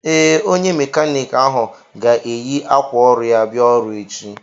Ee, onye mékánịkị ahụ ga-eyi ákwà ọrụ ya bia ọrụ echi